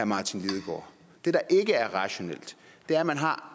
martin lidegaard det der ikke er rationelt er at man har